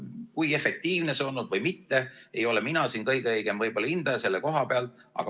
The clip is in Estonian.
Kui efektiivne see on olnud, ei ole mina võib-olla kõige õigem hindaja selle koha pealt.